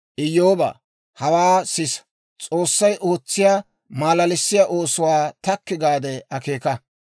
«Iyyoobaa, hawaa sisa; S'oossay ootsiyaa malalissiyaa oosuwaa takki gaade akeeka.